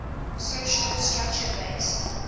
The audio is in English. social structure based